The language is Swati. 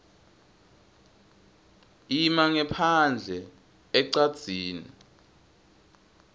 ima ngephandle ecadzini